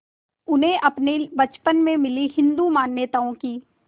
उन्हें अपने बचपन में मिली हिंदू मान्यताओं की